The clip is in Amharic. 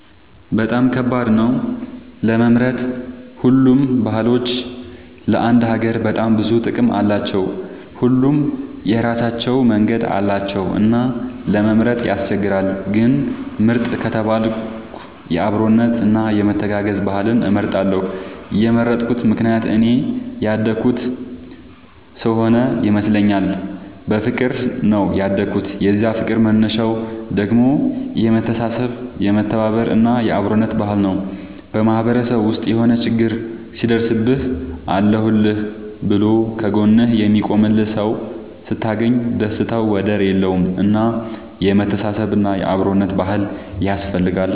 በጣም ከባድ ነው ለመምረጥ ሁሉም ባህሎች ለአንድ ሀገር በጣም ብዙ ጥቅም አላቸው። ሁሉም የራሳቸው መንገድ አላቸው እና ለመምረጥ ያስቸግራል። ግን ምርጥ ከተባልኩ የአብሮነት እና የመተጋገዝ ባህልን እመርጣለሁ የመረጥኩት ምክንያት እኔ ያደኩበት ስሆነ ይመስለኛል። በፍቅር ነው ያደኩት የዛ ፍቅር መነሻው ደግሞ የመተሳሰብ የመተባበር እና የአብሮነት ባህል ነው። በማህበረሰብ ውስጥ የሆነ ችግር ሲደርስብህ አለሁልህ ብሎ ከ ጎንህ የሚቆምልህ ሰው ስታገኝ ደስታው ወደር የለውም። እና የመተሳሰብ እና የአብሮነት ባህል ያስፈልጋል